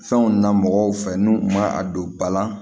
Fɛnw na mɔgɔw fɛ n'u ma a don ba la